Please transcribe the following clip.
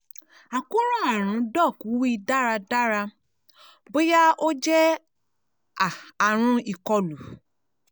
àkóràn arun doc wi daradara boya o jẹ a Àrùn ikolu